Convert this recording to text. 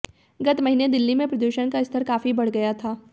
गत महीने दिल्ली में प्रदूषण का स्तर काफी बढ़ गया था